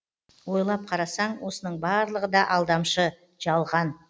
ойлап қарасаң осының барлығы да алдамшы жалған